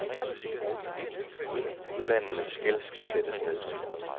Ulandenes gæld skal sættes ned.